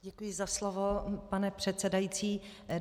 Děkuji za slovo, pane předsedající.